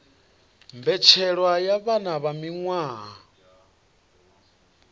mbetshelwa ya vhana vha miwaha